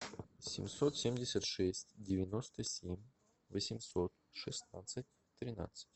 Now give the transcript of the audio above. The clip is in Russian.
семьсот семьдесят шесть девяносто семь восемьсот шестнадцать тринадцать